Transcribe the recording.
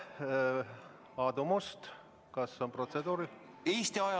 Aadu Must, kas protseduuriline küsimus?